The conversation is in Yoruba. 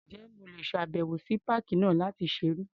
Ǹjẹ́ mo lè ṣàbẹ̀wò sí páàkì náà láti ṣeré?